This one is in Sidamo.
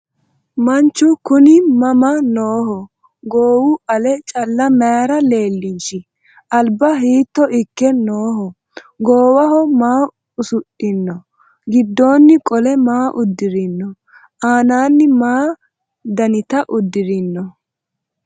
Manchu kunni mama nooho? Goowi ale calla mayiira leelinshi? Alibba hiitto ikke nooho? Goowaho maa usudhinno? Gidoonni qole maa udirinno? Anaanni maa dannitta udirinno?